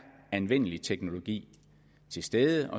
anvendelig teknologi til stede